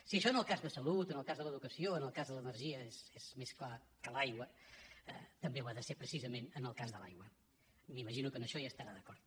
si això en el cas de salut en el cas de l’educació o en el cas de l’energia és més clar que l’aigua també ho ha de ser precisament en el cas de l’aigua i m’imagino que en això hi estarà d’acord